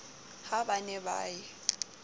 ha ba ne ba ye